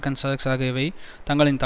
தங்களின் தடுமாறும் போட்டி நிறுவனங்களை